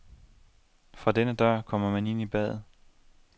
Fra denne dør kommer man ind i badet.